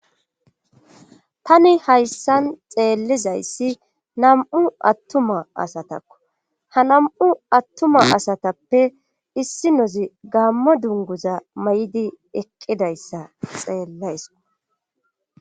tani hayssan xeellizayssi nam7u attuma asatakko ha nam7u attuma asatappe issinozi gaammo dunguza may7idi eqqidayssa xeellayso